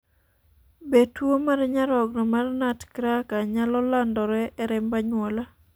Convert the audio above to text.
be tuo mar nyarogno mar nutcracker nyalo landore e remb anyuola?